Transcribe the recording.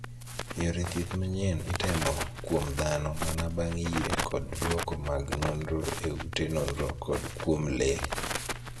Yore thieth manyien itemo kuom dhano mana bang' yie kod duoko mag nonro e ute nonro kod kuom lee.